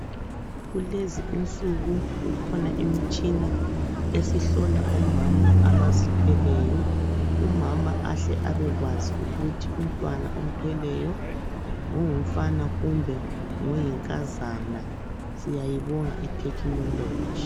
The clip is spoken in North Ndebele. Kulezi insuku kukhona imitshina esihlola omama abazithweleyo, umama ahle abekwazi ukuthi umntwana omthweleyo ngongumfana kumbe ngoyinkazana. Siyayibonga ithekhinoloji.